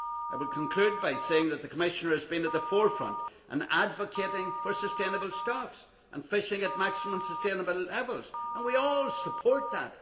I would conclude by saying that the Commissioner has been at the forefront of advocating sustainable stocks and fishing at maximum sustainable levels, and we all support that.